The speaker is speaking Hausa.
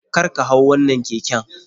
Karka hau wannan keken.